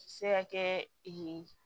Se ka kɛ